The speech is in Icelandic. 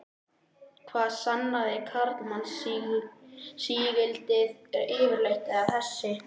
Hvað sannaði karlmannsígildið yfirleitt, eða þessi